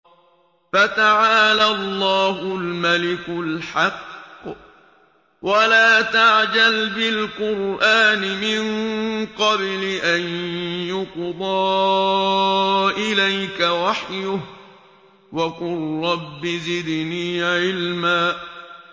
فَتَعَالَى اللَّهُ الْمَلِكُ الْحَقُّ ۗ وَلَا تَعْجَلْ بِالْقُرْآنِ مِن قَبْلِ أَن يُقْضَىٰ إِلَيْكَ وَحْيُهُ ۖ وَقُل رَّبِّ زِدْنِي عِلْمًا